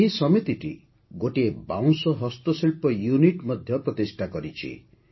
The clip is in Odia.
ଏହି ସମିତିଟି ଗୋଟିଏ ବାଉଁଶ ହସ୍ତଶିଳ୍ପ ୟୁନିଟ୍ ମଧ୍ୟ ପ୍ରତିଷ୍ଠା କରିଛି